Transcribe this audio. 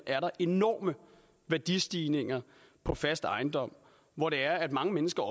er enorme værdistigninger på fast ejendom hvor det er at mange mennesker